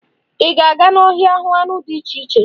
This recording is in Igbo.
Ị ga-aga n'ọhịa hụ anụ ọhịa dị iche iche?